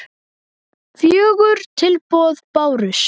Fjögur tilboð bárust.